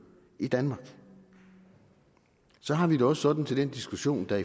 i danmark så har vi det også sådan til den diskussion der